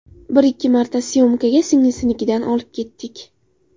Bir-ikki marta syomkaga singlisinikidan olib ketdik.